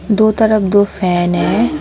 दो तरफ दो फैन है।